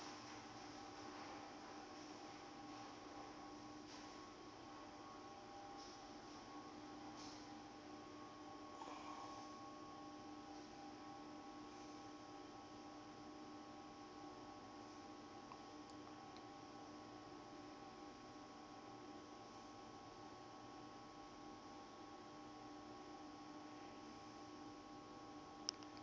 tikolwa tifundzisa temnotfo